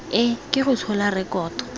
e ke go tshola rekoto